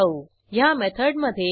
returnBook method call करू